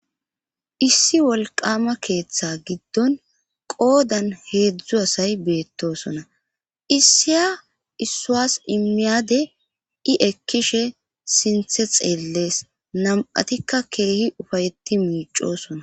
issi wolqama keeththe giddon qoodan heedzdzu asay beettosona issiya issuas immiyade i ekkishe sinthe xeellees nam7atikka keehi ufayetti miicosona